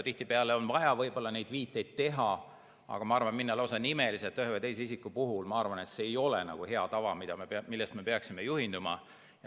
Tihtipeale on vaja võib-olla neid viiteid teha, aga ma arvan, et minna lausa nimeliseks ühe või teise isiku puhul, ei ole nagu hea tava, millest me peaksime juhinduma.